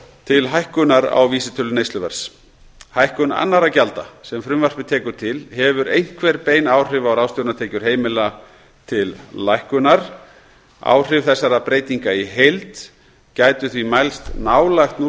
til hækkunar á vísitölu neysluverðs hækkun annarra gjalda sem frumvarpið tekur til hefur einhver bein áhrif á ráðstöfunartekjur heimila til lækkunar áhrif þessara breytinga í heild gætu því mælst nálægt núll